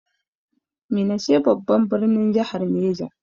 Minna ce babban birnin jahar Neja.